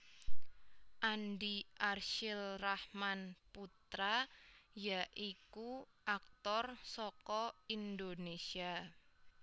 Andi Arsyil Rahman Putra ya iku aktor saka Indonésia